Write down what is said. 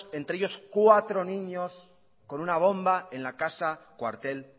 entre ello cuatro niños con una bomba en la casa cuartel